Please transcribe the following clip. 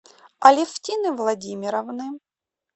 алефтины владимировны